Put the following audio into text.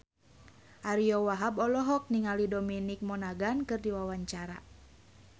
Ariyo Wahab olohok ningali Dominic Monaghan keur diwawancara